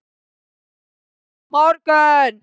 Má ég koma aftur á morgun?